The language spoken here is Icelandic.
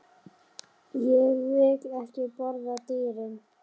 Ég vil ekki borða dýrin.